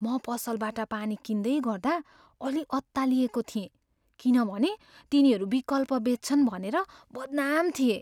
म पसलबाट पानी किन्दैगर्दा अलि अत्तालिएको थिएँ किनभने तिनीहरू विकल्प बेच्छन् भनेर बदनाम थिए।